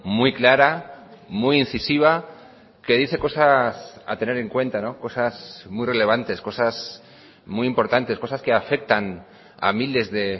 muy clara muy incisiva que dice cosas a tener en cuenta cosas muy relevantes cosas muy importantes cosas que afectan a miles de